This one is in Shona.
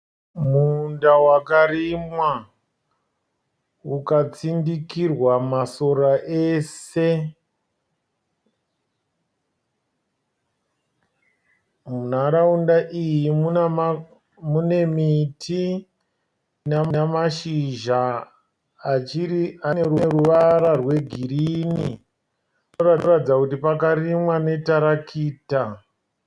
Munda wakarimwa ukatsindikirwa masora ese. Munharaunda iyi mune miti ina mashizha ane ruvara rwegirini. Zvinoratidza kuti pakarimwa netarakita.